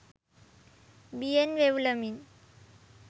බියෙන් වෙව්ලමින්